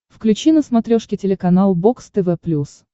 включи на смотрешке телеканал бокс тв плюс